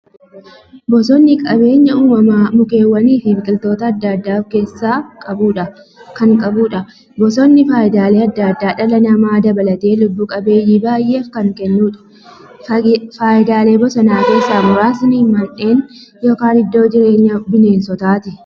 Bosonni qabeenya uumamaa mukkeewwaniifi biqiltoota adda addaa of keessaa qabudha. Bosonni faayidaalee adda addaa dhala namaa dabalatee lubbuu qabeeyyii baay'eef kan kennuudha. Faayidaalee bosonaa keessaa muraasni; Mandhee yookin iddoo jireenya bineensotaati.